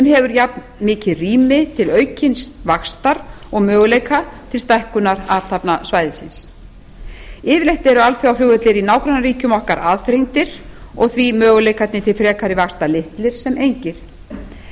hefur jafnmikið rými til aukins vaxta og möguleika til stækkunar alþjóðasvæðisins yfirleitt eru alþjóðaflugvellir í nágrannaríkjum okkar að aðþrengdir og því möguleikarnir til frekari vaxtar litlir sem engir